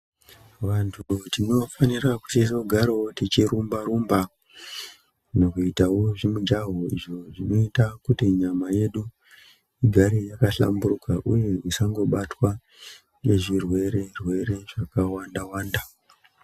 Vantu tinofanira kuti tizogarawo tichirumba rumba nekuitawo zvimujaho izvo zvinoita kuti nyama yedu igare yakashamburuka uye isangobatwa nezvirwere rwere zvakawanda wanda .